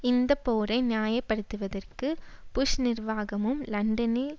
இந்த போரை நியாய படுத்துவதற்கு புஷ் நிர்வாகமும் லண்டனில்